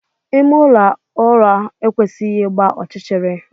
Ime ụlọ ụra ekwesịghị ịgba ọchịchịrị.